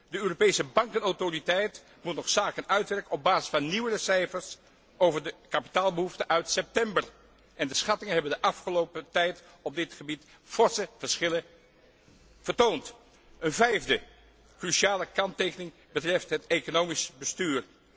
De Europese Bankautoriteit moet nog zaken uitwerken op basis van nieuwere cijfers over de kapitaalbehoeften uit september, en de schattingen hebben de afgelopen tijd op dit gebied forse verschillen vertoond. Een vijfde cruciale kanttekening betreft het economisch bestuur.